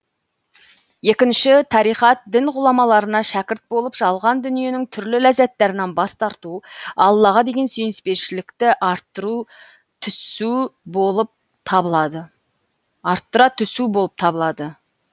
екіншісі тариқат дін ғұламаларына шәкірт болып жалған дүниенің түрлі ләззаттарынан бас тарту аллаға деген сүйіспеншілікті арттыра түсу болып табылады